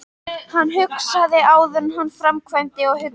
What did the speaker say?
Hann hugsaði áður en hann framkvæmdi og hugsaði vel.